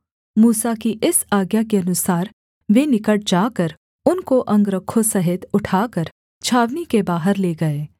मूसा की इस आज्ञा के अनुसार वे निकट जाकर उनको अंगरखों सहित उठाकर छावनी के बाहर ले गए